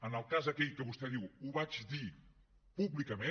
en el cas aquell que vostè diu ho vaig dir públicament